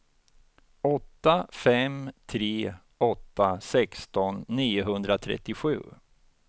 åtta fem tre åtta sexton niohundratrettiosju